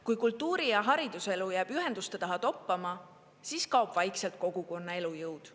Kui kultuuri- ja hariduselu jääb ühenduste taha toppama, siis kaob vaikselt kogukonna elujõud.